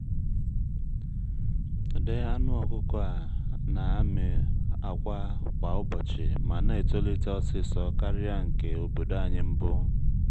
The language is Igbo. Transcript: ụdị anụ ọkụkọ a na-amị akwa kwa ụbọchị ma na-etolite osisor karịa nke obodo anyị mbụ.